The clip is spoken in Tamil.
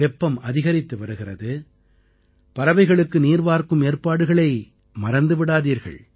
வெப்பம் அதிகரித்து வருகிறது பறவைகளுக்கு நீர்வார்க்கும் ஏற்பாடுகளை மறந்து விடாதீர்கள்